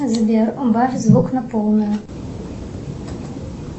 сбер убавь звук на полную